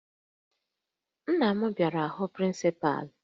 Nna m bịara ịhụ prịncịpalụ